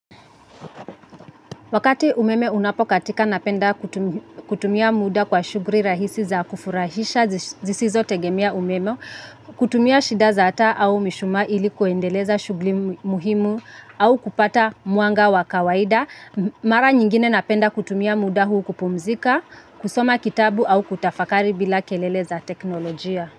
Wakati umeme unapokatika napenda kutumia muda kwa shughuli rahisi za kufurahisha zisizo tegemea umeme, kutumia shida za taa au mishumaa ilikuendeleza shughuli muhimu au kupata mwanga wa kawaida, mara nyingine napenda kutumia muda huu kupumzika, kusoma kitabu au kutafakari bila kelele za teknolojia.